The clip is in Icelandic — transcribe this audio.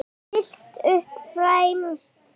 Stillt upp fremst.